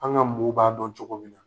An ka mow b'a dɔn cogoya min na